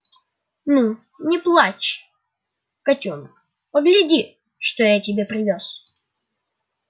ну не плачь котёнок погляди что я тебе привёз